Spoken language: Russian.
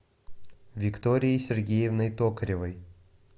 викторией сергеевной токаревой